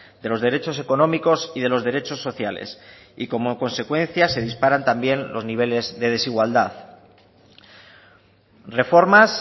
de los derechos económicos y de los derechos sociales y como consecuencia se disparan también los niveles de desigualdad reformas